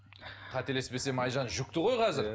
қателеспесем айжан жүкті ғой қазір